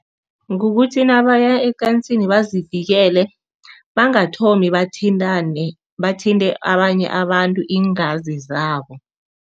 Kukuthi nabaya ecansini bazivikele, bangathomi bathintane, bathinte abanye abantu iingazi zabo.